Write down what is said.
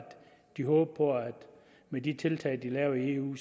de håber på at med de tiltag de laver i eu